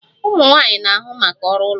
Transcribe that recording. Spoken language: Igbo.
Ụmụ nwanyị na-ahụ maka ọrụ ụlọ